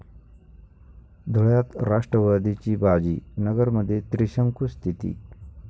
धुळ्यात राष्ट्रवादीची बाजी, नगरमध्ये त्रिशंकू स्थिती